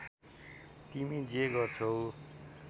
तिमी जे गर्छौ